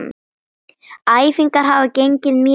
Æfingar hafa gengið mjög vel.